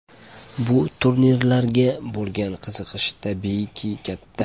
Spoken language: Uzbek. Bu turnirlarga bo‘lgan qiziqish tabiiyki katta.